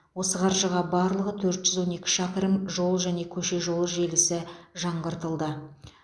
осы қаржыға барлығы төрт жүз он екі шақырым жол және көше жолы желісі жаңғыртылды